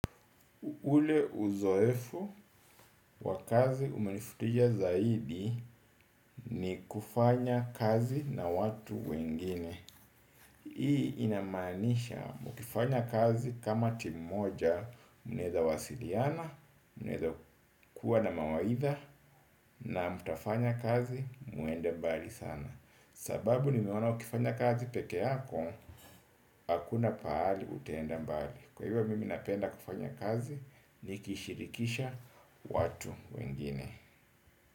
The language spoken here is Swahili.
Ule uzoefu wa kazi umenivutia zaidi ni kufanya kazi na watu wengine. Hii inamanisha mkifanya kazi kama timu moja mnaeza wasiliana, mnaeza kuwa na mawaidha na mtafanya kazi muende mbali sana. Sababu nimeonaa ukifanya kazi pekee yako, hakuna pahali utaenda mbali. Kwa hivyo mimi napenda kufanya kazi ni kishirikisha watu wengine.